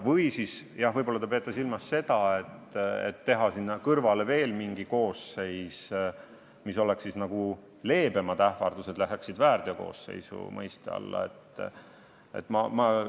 Või kas te peate silmas seda, et tekitada sinna kõrvale veel mingi koosseis, nii et leebemad ähvardused läheksid nagu väärteokoosseisu alla?